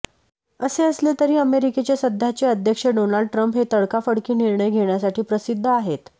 असे असले तरी अमेरिकेचे सध्याचे अध्यक्ष डोनाल्ड ट्रम्प हे तडकाफडकी निर्णय घेण्यासाठी प्रसिद्ध आहेत